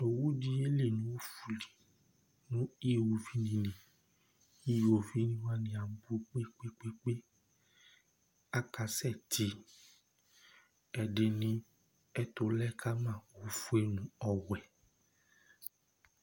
Owu di yeli nʋ ɔfʋli nʋ ʋwovi li Ʋwovi wani abʋ kpe kpe kpe kpe Akasɛ ti Ɛdiní ɛtu lɛ kama ɔfʋe nʋ ɔwɛ